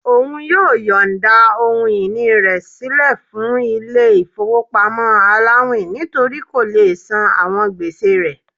Òun yóò yońda ohun-ini rẹ silẹ fún ilé ifowopamọ àláwin nítorí kó lé sán àwọn gbèsè rẹ̀